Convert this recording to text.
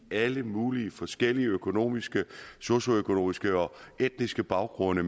alle mulige forskellige økonomiske socioøkonomiske og etniske baggrunde